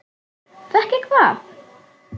Fékk ég hvað?